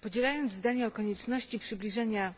Podzielając zdania o konieczności przybliżania